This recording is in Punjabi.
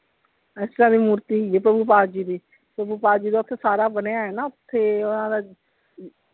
ਇਸਤਰਾਂ ਦੀ ਮੂਰਤੀ ਹੈਗੀ ਆ ਪਾਲ ਜੀ ਦੀ ਪਾਲ ਜੀ ਦਾ ਓਥੇ ਸਾਰ ਬਣਿਆ ਹੋਇਆ ਨਾ ਓਥੇ ਓਹਨਾ ਦਾ,